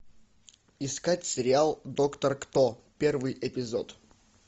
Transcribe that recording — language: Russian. искать сериал доктор кто первый эпизод